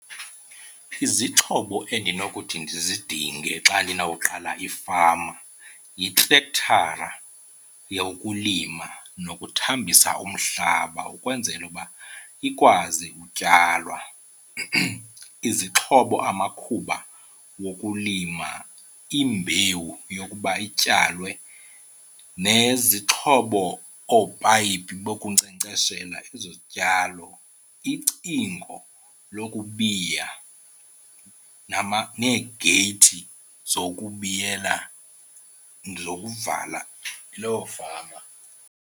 Izixhobo endinokuthi ndizidinge xa ndinawuqala ifama yitrektara yokulima nokuthambisa umhlaba ukwenzela uba ikwazi utyalwa, izixhobo amakhuba wokulima, imbewu yokuba ityalwe nezixhobo oopayipi bokunkcenkceshela ezo zityalo, icingo lokubiya neegeyithi zokubiyela, zokuvala loo fama.